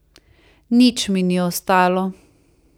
Nič mi ni ostalo.